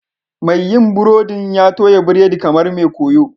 Mai yin burodin ya toya biredi kamar mai koyo